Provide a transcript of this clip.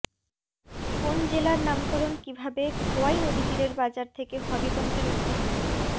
কোন জেলার নামকরণ কীভাবেখোয়াই নদীতীরের বাজার থেকে হবিগঞ্জের উৎপত্তি